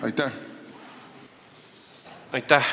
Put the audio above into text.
Aitäh!